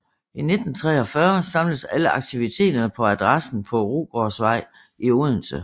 I 1943 samles alle aktiviteterne på adressen på Rugårdsvej i Odense